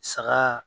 Saga